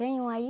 Tem um aí?